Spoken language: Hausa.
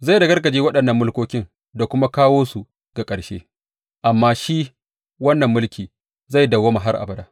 Zai ragargaje waɗannan mulkokin da kuma kawo su ga ƙarshe, amma shi wannan mulki zai dawwama har abada.